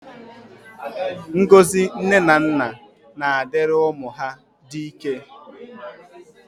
Ngọzi ndị nne na nna na-adịrị ụmụ ha dị ike